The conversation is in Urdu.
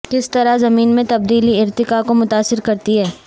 کس طرح زمین میں تبدیلی ارتقاء کو متاثر کرتی ہے